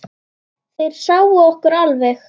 Þeir sáu okkur alveg!